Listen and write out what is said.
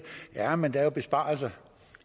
jamen der er jo besparelser